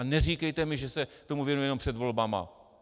A neříkejte mi, že se tomu věnuje jenom před volbami.